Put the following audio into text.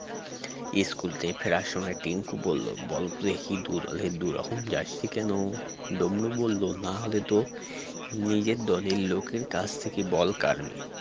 school থেকে ফেরার সময় টিংকু বলল বলতেহি দুদলের দুরকম jersey কেন ডমরু বলল নাহলে তো নিজের দলের লোকের কাছ থেকে বল কাড়বে